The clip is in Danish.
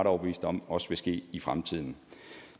overbevist om også vil ske i fremtiden